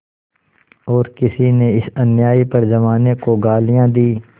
और किसी ने इस अन्याय पर जमाने को गालियाँ दीं